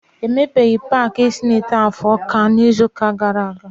E mepeghị paaki senotaf Ọka na ngwụcha izu ụka gaara aga.